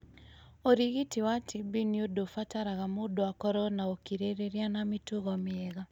Ũrigiti wa TB nĩ ũndũ ũbataraga mũndũ akorũo na ũkirĩrĩria na mĩtugo mĩega.